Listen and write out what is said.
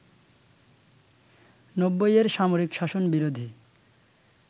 ৯০ এর সামরিক শাসন বিরোধী